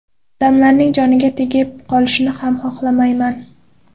Odamlarning joniga tegib qolishni ham xohlamayman.